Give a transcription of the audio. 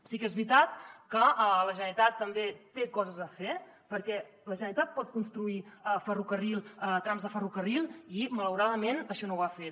sí que és veritat que la generalitat també té coses a fer perquè la generalitat pot construir ferrocarril trams de ferrocarril i malauradament això no ho ha fet